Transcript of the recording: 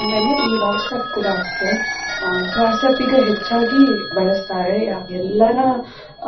ಆಮೇಲೆ ಈ WhatsApp ಕೂಡಾ ಅಷ್ಟೆ ಆ WhatsApp ಈಗ ಹೆಚ್ಚಾಗಿ ಬಳಸ್ತಾರೆ ಎಲ್ಲರ